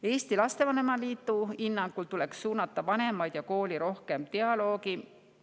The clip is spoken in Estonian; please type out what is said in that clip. Eesti Lastevanemate Liidu hinnangul tuleks suunata vanemaid ja kooli rohkem dialoogi.